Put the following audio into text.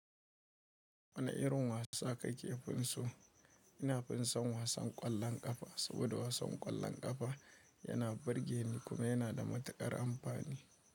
Wani irin wasa kake finsu? Ina finson wasan ƙwallon ƙafa saboda wasan ƙwallon ƙafa yana burge ni kuma yana da matuƙar amfani.